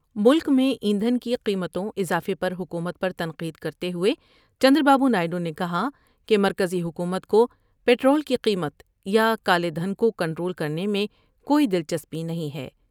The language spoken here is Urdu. ملک میں ایندھن کی قیمتوں اضافے پر حکومت پر تنقید کرتے ہوۓ چندر بابو نائیڈو نے کہا کہ مرکزی حکومت کو پٹرول کی قیمت یا کالے دھن کو کنٹرول کرنے میں کوئی دلچسپی نہیں ہے ۔